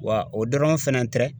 Wa o dɔrɔn fɛrɛ tɛrɛ